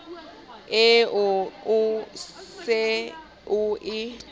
eo o se o e